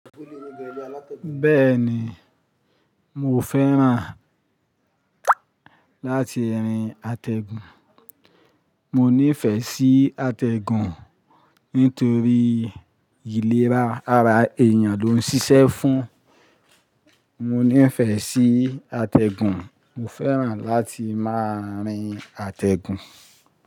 Bẹ́ẹ̀ ni, mo fẹ́ràn láti rin àtẹ̀gùn. Mo nífẹ̀ẹ́ sí àtẹ̀gùn nítorí ìlera ara èèyàn ló ń ṣiṣẹ́ fún. Mo nífẹ̀ẹ́ sí àtẹ̀gùn. Mo fẹ́ràn láti máa rin àtẹ̀gùn.